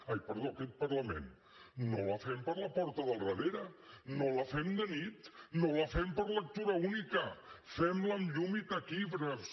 ai perdó aquest parlament no la fem per la porta del darrere no la fem de nit no la fem per lectura única fem la amb llum i taquígrafs